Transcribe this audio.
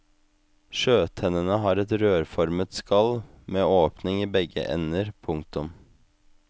Sjøtennene har et rørformet skall med åpning i begge ender. punktum